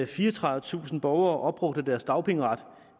fireogtredivetusind borgere opbrugte deres dagpengeret